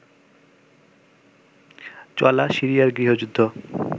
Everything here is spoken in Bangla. চলা সিরিয়ার গৃহযুদ্ধ